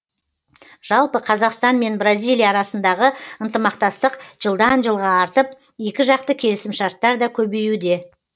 жалпы қазақстан мен бразилия арасындағы ынтымақтастық жылдан жылға артып екіжақты келісімшарттар да көбеюде